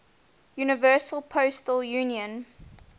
universal postal union